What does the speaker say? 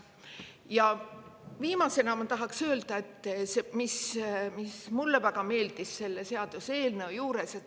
Ja viimasena ma tahan öelda, mis mulle väga meeldis selle seaduseelnõu juures.